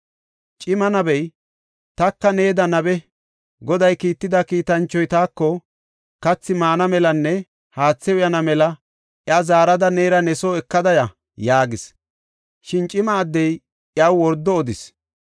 Cima nabey, “Taka needa nabe. Goday kiitida kiitanchoy taako, ‘Kathi maana melanne haathe uyana mela iya zaarada neera ne soo ekada ya’ ” yaagis. Shin cima addey iyaw wordo odis.